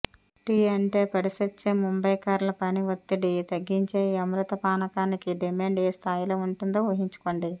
tea అంటే పడిచచ్చే ముంబైకర్ల పని ఒత్తిడి తగ్గించే ఈ అమృత పానకానికి డిమాండ్ ఏ స్థాయిలో ఉంటుందో ఊహించుకోండి